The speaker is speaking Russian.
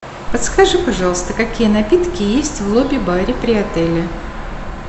подскажи пожалуйста какие напитки есть в лобби баре при отеле